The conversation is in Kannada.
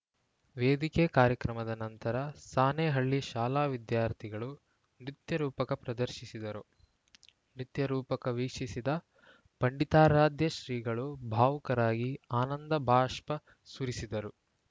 ವೇದಿಕೆ ಕಾರ್ಯಕ್ರಮದ ನಂತರ ಸಾಣೇಹಳ್ಳಿಯ ಶಾಲಾ ವಿದ್ಯಾರ್ಥಿಗಳು ನೃತ್ಯರೂಪಕ ಪ್ರದರ್ಶಿಸಿದರು ನೃತ್ಯ ರೂಪಕ ವೀಕ್ಷಿಸಿದ ಪಂಡಿತಾರಾಧ್ಯ ಶ್ರೀಗಳು ಭಾವುಕರಾಗಿ ಆನಂದಬಾಷ್ಪ ಸುರಿಸಿದರು